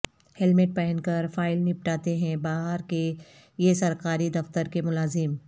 helmet پہن کر file نپٹاتے ہیں بہار کے یہ سرکاری دفتر کے ملازم